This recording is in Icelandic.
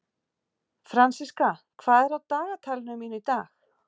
Fransiska, hvað er á dagatalinu mínu í dag?